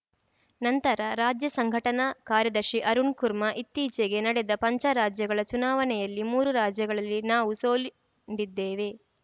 ನಂತರ ರಾಜ್ಯ ಸಂಘಟನಾ ಕಾರ್ಯದರ್ಶಿ ಅರುಣ್‌ ಕುರ್ಮಾ ಇತ್ತೀಚೆಗೆ ನಡೆದ ಪಂಚ ರಾಜ್ಯಗಳ ಚುನಾವಣೆಯಲ್ಲಿ ಮೂರು ರಾಜ್ಯಗಳಲ್ಲಿ ನಾವು ಸೋಲುಂಡಿದ್ದೇವೆ